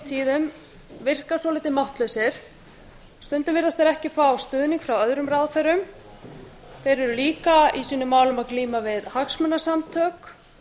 tíðum virka svolítið máttlausir stundum virðast þeir ekki ekki fá stuðning frá öðrum ráðherrum þeir eru líka í sínum málum að glíma vil hagsmunasamtök